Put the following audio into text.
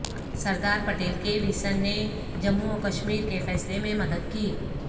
سردار پٹیل کے ویژن نے جموں و کشمیر کے فیصلے میں مدد کی